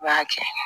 I b'a kɛ